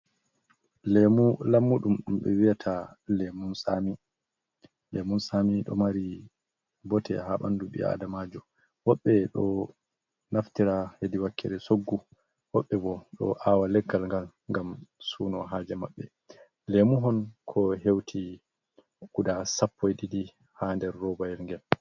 Lemu lammudum, dumbe wiyata lemun sami, do mari bote ha bandu bi'aadamajo, woɓbe do naftira hedi wakkere soggu, wobbe bo do awa leggal gal ngam suuno haje mabbe. Lemuhon ko hewti guda 12 ha der robayel ngel.